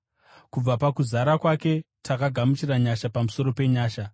Kubva pakuzara kwake takagamuchira nyasha pamusoro penyasha.